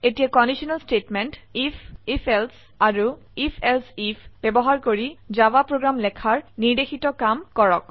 এতিয়া conditional statement IF if else আৰু if else IF ব্যবহাৰ কৰি জাভা প্ৰোগ্ৰাম লেখাৰ নিৰ্দেশিত কাম কৰক